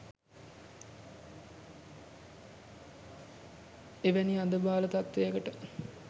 එබැනි අඳ බාල තත්ත්වයකට